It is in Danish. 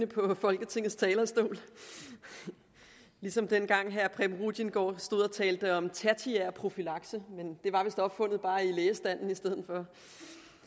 på folketingets talerstol ligesom dengang herre preben rudiengaard stod og talte om tertiær profylakse men det var vist opfundet bare i lægestanden